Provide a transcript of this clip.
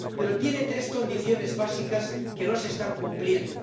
Pero tiene tres condiciones básicas que no se están cumpliendo.